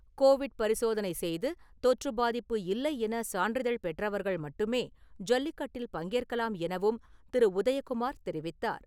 Covid பரிசோதனை செய்து தொற்று பாதிப்பு இல்லை என சான்றிதழ் பெற்றவர்கள் மட்டுமே ஜல்லிக்கட்டில் பங்கேற்கலாம் எனவும் திரு. உதயகுமார் தெரிவித்தார்.